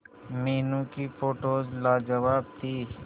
मीनू की फोटोज लाजवाब थी